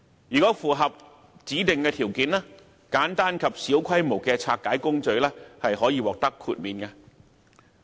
如果符合指定條件，簡單及小規模的拆解工序可獲豁免。